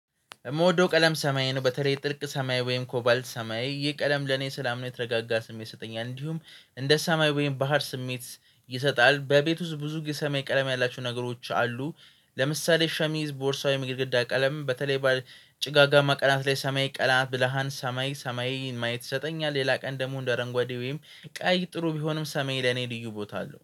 የምወደው ቀለም ሰማያዊ ነው በተለይ ጥልቅ ሰማይ ወይም ኮባልት ሰማይ ይህ ቀለም ለኔ ሰላም ነው የተረጋጋ ስሜት ይሰጠኛል እንዲሁም እንደ ሰማይ ወይም ባህር ስሜት። ይሰጣል በቤት ውስጥ ብዙ ጊዜ ሰማይ ቀለም ያላቸው ነገሮች አሉ። ለምሳሌ ሸሚዝ ቦርሳ ወይም የግድግዳ ቀለም በተለይ በጭጋጋማ ቀናት ላይ ሰማይ ቀላ ብልሃን ሰማይ ሰማይን ማየት ይሰጠኛል። ሌላ ቀን ደግሞ አንደ አረንጓዴ ወይም ቀይ ጥሩ ቢሆንም ሰማይ ለኔ ልዩ ቦታ አለው